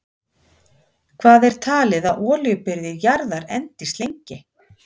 Hvað er talið að olíubirgðir jarðar endist lengi?